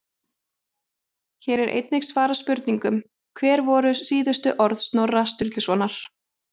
Hér er einnig svarað spurningunum: Hver voru síðustu orð Snorra Sturlusonar?